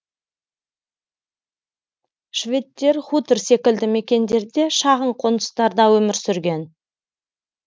шведтер хутор секілді мекендерде шағын қоныстарда өмір сүрген